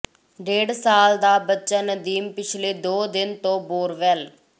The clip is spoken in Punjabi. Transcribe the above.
ਡੇਢ ਸਾਲ ਦਾ ਬੱਚਾ ਨਦੀਮ ਪਿਛਲੇ ਦੋ ਦਿਨ ਤੋਂ ਬੋਰਵੈਲ